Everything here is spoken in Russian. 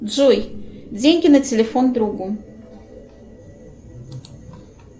джой деньги на телефон другу